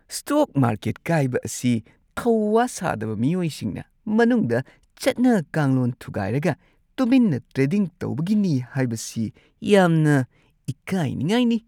Stock market ꯀꯥꯏꯕ ꯑꯁꯤ ꯊꯧ-ꯋꯥ ꯁꯥꯗꯕ ꯃꯤꯑꯣꯏꯁꯤꯡꯅ ꯃꯅꯨꯡꯗ ꯆꯠꯅ-ꯀꯥꯡꯂꯣꯟ ꯊꯨꯒꯥꯏꯔꯒ ꯇꯨꯃꯤꯟꯅ ꯇ꯭ꯔꯦꯗꯤꯡ ꯇꯧꯕꯒꯤꯅꯤ ꯍꯥꯏꯕꯁꯤ ꯌꯥꯝꯅ ꯏꯀꯥꯏꯅꯤꯡꯉꯥꯏꯅꯤ ꯫